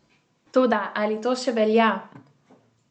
Toda ali to še velja?